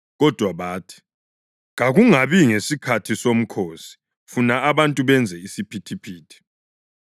Kodwa bathi, “Kakungabi ngesikhathi somkhosi, funa abantu benze isiphithiphithi.”